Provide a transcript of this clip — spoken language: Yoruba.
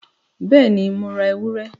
Bẹ́ẹ̀ni, Mo ra ewúrẹ?